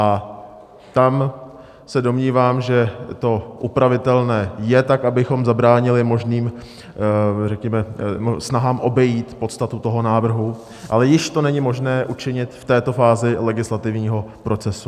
A tam se domnívám, že to upravitelné je tak, abychom zabránili možným řekněme snahám obejít podstatu toho návrhu, ale již to není možné učinit v této fázi legislativního procesu.